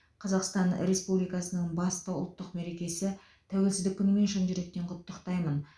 қазақстан республикасының басты ұлттық мерекесі тәуелсіздік күнімен шын жүректен құттықтаймын